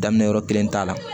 Daminɛ yɔrɔ kelen t'a la